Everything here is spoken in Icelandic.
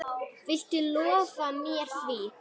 Viltu lofa mér því?